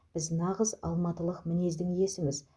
біз нағыз алматылық мінездің иесіміз